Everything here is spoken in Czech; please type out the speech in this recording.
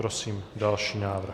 Prosím další návrh.